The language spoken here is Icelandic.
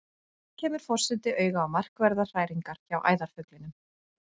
Enn kemur forseti auga á markverðar hræringar hjá æðarfuglinum.